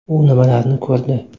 U nimalarni ko‘rdi?.